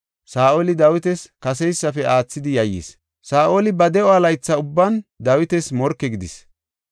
Saa7oli Dawitas kaseysafe aathidi yayyis. Saa7oli ba de7o laytha ubban Dawitas morke gidis.